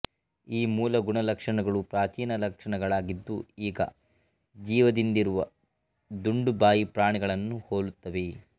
ಈ ಮೂಲ ಗುಣಲಕ್ಷಣಗಳು ಪ್ರಾಚೀನ ಲಕ್ಷಣಗಳಾಗಿದ್ದು ಈಗ ಜೀವದಿಂದಿರುವ ದುಂಡುಬಾಯಿ ಪ್ರಾಣಿಗಳನ್ನು ಹೋಲುತ್ತವೆ